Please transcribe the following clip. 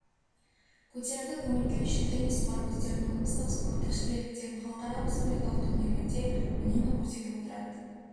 көтеріңкі көңіл-күй үшін теннис олар өздерінің облыстық спорттық шеберліктерін халықаралық республикалық турнирлерде үнемі көрсетіп отырады